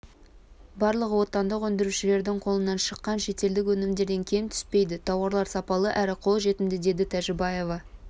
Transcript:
барлығы отандық өндірушілердің қолынан шыққан шетелдік өнімдерден кем түспейді тауарлар сапалы әрі қолжетімді деді тәжібаева